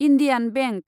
Indian bank